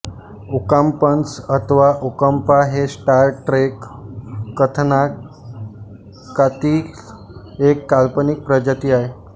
ओकांपन्स अथवा ओकांपा हे Star Trek कथानाकातील एक काल्पनिक प्रजाती आहे